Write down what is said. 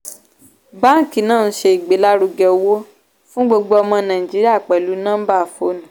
báàǹkì náà ń ṣe ìgbélárugẹ owó fún gbogbo ọmọ nàìjíríà pẹlú nọmbà fóònù.